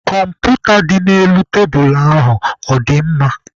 Kọmputa dị n'elu tebulu ahụ ọ dị mma?